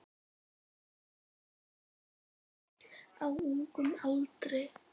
Á ungum aldri.